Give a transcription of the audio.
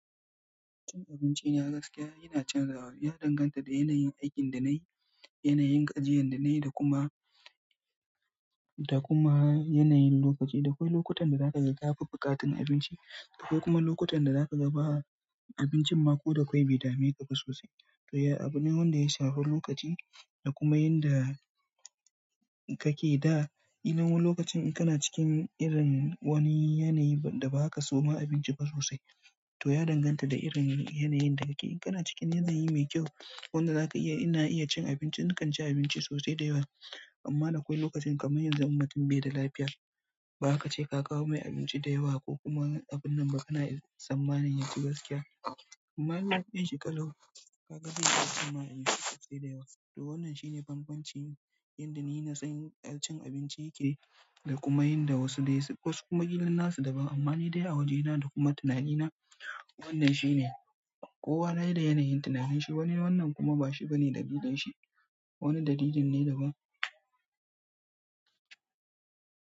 Cin abinci yana gaskiya yana canzawa. Ya danganta da yanayin aikin da na yi, yanayin gajiyar da na yi da kuma, da kuma yanayin lokaci. Dakwai lokutan da za ka ga ka fi buƙatar abinci, akwai kuma lokutan da za ka ga ba abincin mako da akwai bi da mai ka fi sosai. To ya, abune wanda ya shafi lokaci da kuma inda kake da. Ina wani lokacin in kana cikin irin wani yanayi da ba ka so ma abinci ba sosai. To ya danganta da irin yanayin da kake. In kana cikin yanayi mai kyau wanda za ka iya, ina iya cin abinci, na kan ci abinci sosai da yawa. Amma na akwai lokacin kamar yanzu, um mutun bai da lafiya, ba haka ce ka kawo mai abinci da yawa ko kuma abun nan ba kana tsammanin yaci gaskiya. Amma lokacin shi ƙalau. Ka ga zai iya tsammani sosai da yawa. To wannan shine banbancin inda ni na san cin abinci yake da kuma inda wasu dai su, wasu kuma illin na su daban. Amma ni dai a wajena da kuma tunanina wannan shine. Kowa dai da yanayin tunahanshi, wannan kuma ba shi bane dalilin shi. Wani dalilin ne daban.